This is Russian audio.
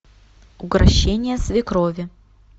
укрощение свекрови